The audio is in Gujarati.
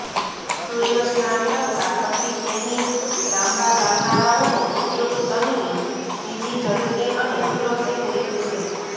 સૂર્યસ્નાન કરતા પછી ટેનિંગ લાંબા ચાલનારાઓનો ઉપયોગ તનની બીજી ઝડપી અને સુરક્ષિત રીત છે